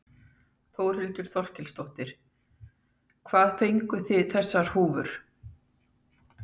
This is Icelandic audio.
Þórhildur Þorkelsdóttir: Hvað fenguð þið þessar húfur?